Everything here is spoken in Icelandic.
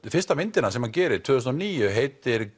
fyrsta myndin sem hann gerir tvö þúsund og níu heitir